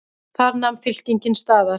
Þar nam fylkingin staðar.